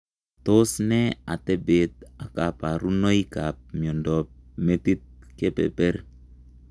Tos nee ateepeet ak kaparunoik ap miondoop metiit kepeper?